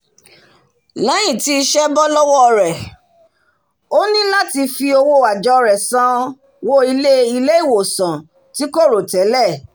lẹ́yìn tí isẹ́ bọ́ lọ́wọ́ rẹ̀ ó ní làti fi owó àjọ́ rẹ̀ san wó ilé-ìwòsàn tí kò rò tẹ́lẹ̀